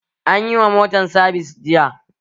Anyi wa motan sabis jiya